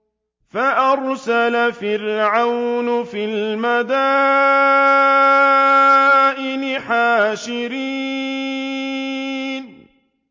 فَأَرْسَلَ فِرْعَوْنُ فِي الْمَدَائِنِ حَاشِرِينَ